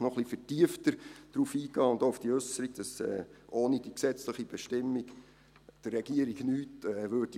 noch etwas vertiefter darauf eingehen, auch auf die Äusserung, wonach die Regierung ohne diese gesetzliche Bestimmung nichts tun würde.